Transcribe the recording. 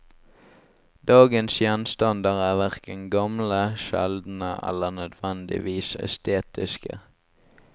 Dagens gjenstander er verken gamle, sjeldne eller nødvendigvis estetiske.